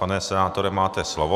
Pane senátore, máte slovo.